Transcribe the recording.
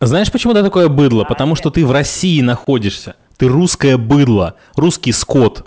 знаешь почему такое быдла потому что ты в россии находишься ты русская быдло русский скот